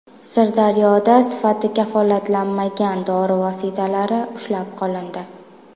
Sirdaryoda sifati kafolatlanmagan dori vositalari ushlab qolindi.